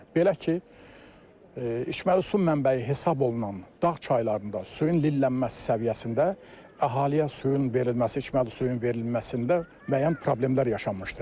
Belə ki, içməli su mənbəyi hesab olunan dağ çaylarında suyun lillənməsi səviyyəsində əhaliyə suyun verilməsi, içməli suyun verilməsində müəyyən problemlər yaşanmışdır.